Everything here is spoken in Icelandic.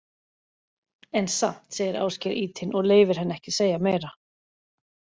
En samt, segir Ásgeir ýtinn og leyfir henni ekki að segja meira.